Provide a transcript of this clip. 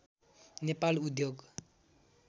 नेपाल उद्योग